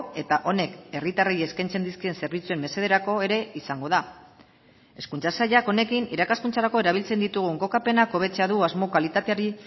eta honek herritarrei eskaintzen dizkien zerbitzuen mesederako ere izango da hezkuntza sailak honekin irakaskuntzarako erabiltzen ditugun kokapenak hobetzea du asmo kalitateari